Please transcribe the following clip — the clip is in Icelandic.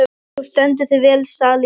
Þú stendur þig vel, Salín!